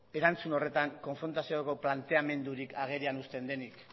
erantzun horretan konfrontazioko planteamendurik agerian usten denik